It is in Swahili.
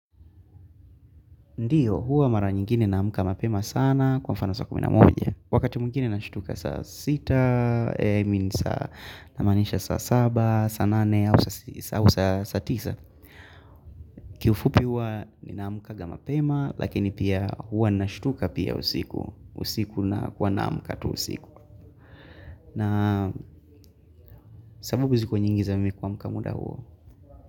Ndiyo, huwa mara nyingine naamka mapema sana kwa mfano saa kumi na moja. Wakati mwingine na nashtuka saa sita, i means saa namaanisha saa saba, saa nane, au saa saa tisa. Kiufupi huwa ninaamkaga mpema, lakini pia huwa na nashutuka pia usiku. Usiku na kuwa naamka tu usiku. Na sababu ziko nyingi za mimi kuamka muda huo.